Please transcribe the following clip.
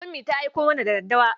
Ummi ta aiko mana da daddawa.